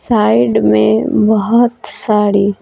side में बहोत सारी--